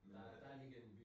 Men er den